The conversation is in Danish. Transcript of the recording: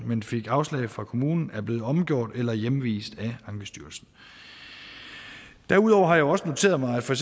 men fik afslag fra kommunen er blevet omgjort eller hjemvist af ankestyrelsen derudover har jeg også noteret mig at for